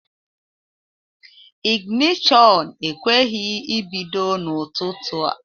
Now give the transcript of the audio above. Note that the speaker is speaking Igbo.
Ịginishon ekweghị ebido n'ụtụtụ a